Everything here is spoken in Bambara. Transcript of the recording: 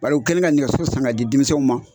Bari u kɛlen ka nɛgɛso san ka di denmisɛnw ma.